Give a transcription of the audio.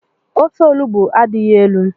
Ofe olugbu adighi elu.